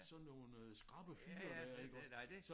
Sådan nogle øh skrappe fyre der iggås